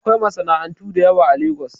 Akwai masana'antu da yawa a Lagos